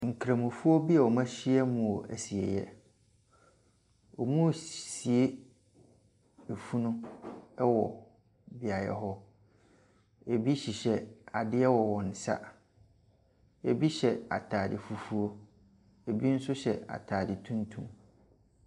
Nkramofoɔ bi wɔahyia mu wɔ ɛsieyɛ. Wɔresie efunu ɛwɔ beaeɛ hɔ. Ebi hyehyɛ adeɛ wɔ wɔnsa. Ebi hyɛ ataade fufuo, ebi nso hyɛ ataade tuntum.